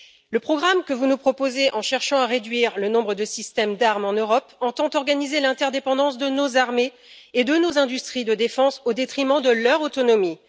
Le programme que vous nous proposez, en cherchant à réduire le nombre de systèmes d'armes en Europe, entend organiser l'interdépendance de nos armées et de nos industries de défense au détriment de leur autonomie.